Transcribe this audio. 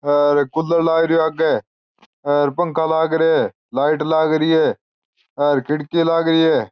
हेर cooler लाग रियो है आगे हेर पंखा लाग रिया है लाइट लाग रही है हेर खिड़की लाग रही है।